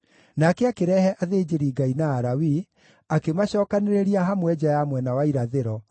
Nake akĩrehe athĩnjĩri-Ngai na Alawii, akĩmacookanĩrĩria hamwe nja ya mwena wa irathĩro,